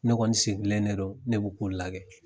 Ne kɔɔni sigilen de don, ne b'' kun lagɛ.